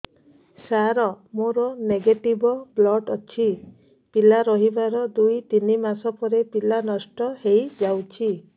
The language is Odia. ସାର ମୋର ନେଗେଟିଭ ବ୍ଲଡ଼ ଅଛି ପିଲା ରହିବାର ଦୁଇ ତିନି ମାସ ପରେ ପିଲା ନଷ୍ଟ ହେଇ ଯାଉଛି